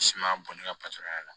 Sumaya bɔ ni ka patɔrɔn y'a la